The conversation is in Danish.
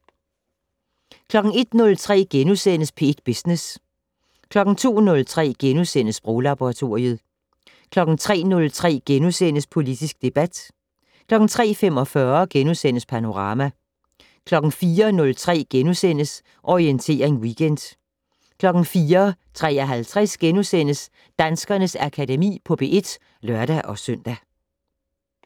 01:03: P1 Business * 02:03: Sproglaboratoriet * 03:03: Politisk debat * 03:45: Panorama * 04:03: Orientering Weekend * 04:53: Danskernes Akademi på P1 *(lør-søn)